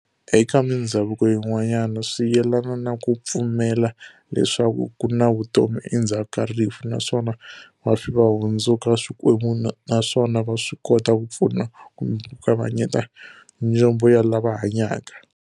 Eka mindzhavuko yin'wana, swi yelana na ku pfumela leswaku ku na vutomi endhzaku ka rifu, naswona vafi vahundzuka swikwembu naswona va swikota ku pfuna kumbe ku kavanyeta njombo ya lava hanyaka.